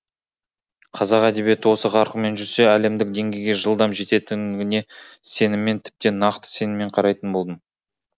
қазақ әдебиеті осы қарқынмен жүрсе әлемдік деңгейге жылдам жететіндігіне сеніммен тіптен нақты сеніммен қарайтын болдым